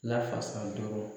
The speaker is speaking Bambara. Lafasa dɔrɔn